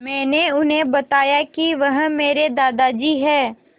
मैंने उन्हें बताया कि वह मेरे दादाजी हैं